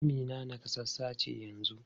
Amina nakasassa ce yanzu?